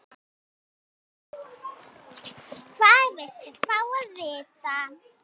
Hvað viltu fá að vita?